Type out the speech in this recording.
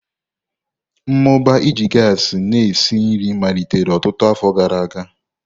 Mmụba iji gasi na-esi nri malitere ọtụtụ afọ gara aga.